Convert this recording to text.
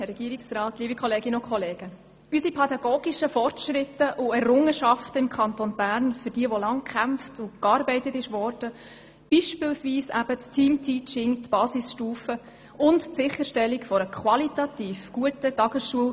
Für die pädagogischen Fortschritte und Errungenschaften im Kanton Bern wurde lange gearbeitet und gekämpft, beispielsweise für das Teamteaching, die Basisstufe und die Sicherstellung von qualitativ guten Tagesschulen.